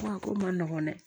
A ko man nɔgɔn dɛ